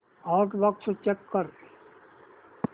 outbox check कर